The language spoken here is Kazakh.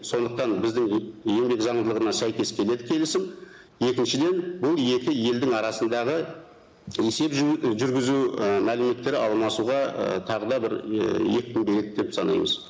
сондықтан біздің еңбек заңдылығына сәйкес келеді келісім екіншіден бұл екі елдің арасындағы есеп жүргізу і мәліметтері алмасуға і тағы да бір екпін береді деп санаймыз